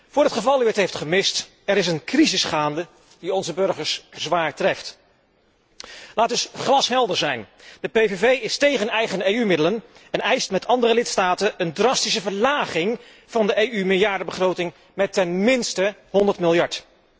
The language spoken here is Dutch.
Voor het geval u het heeft gemist er is een crisis gaande die onze burgers zwaar treft. Laat dus glashelder zijn de PPV is tegen eigen EU middelen en eist, met andere lidstaten, een drastische verlaging van de EU meerjarenbegroting met ten minste 100 miljard.